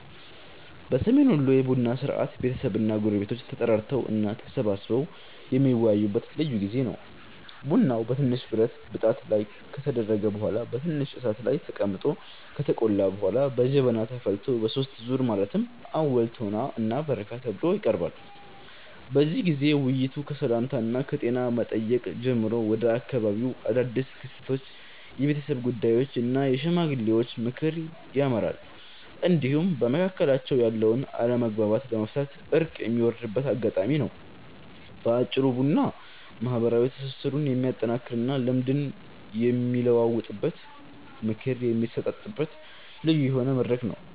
በሰሜን ወሎ የቡና ሥርዓት ቤተሰብና ጎረቤቶች ተጠራርተው እና ተሰባስበው የሚወያዩበት ልዩ ጊዜ ነው። ቡናው በትንሽ ብረት ብጣት ላይ ከተደረገ በኋላ በትንሽ እሳት ላይ ተቀምጦ ከተቆላ በኋላ በጀበና ተፈልቶ በሦስት ዙር ማለትም አወል፣ ቶና እና በረካ ተብሎ ይቀርባል። በዚህ ጊዜ ውይይቱ ከሰላምታና ከጤና መጠየቅ ጀምሮ ወደ አካባቢው አዳድስ ክስተቶች፣ የቤተሰብ ጉዳዮች እና የሽማግሌዎች ምክር ያመራል፤ እንዲሁም በመካከላቸው ያለውን አለመግባባት ለመፍታት እርቅ የሚወርድበት አጋጣሚም ነው። በአጭሩ ቡና ማህበራዊ ትስስሩን የሚያጠናክርና ልምድ የሚለዋወጥበት፣ ምክር የሚሰጣጥበት ልዩ የሆነ መድረክ ነው።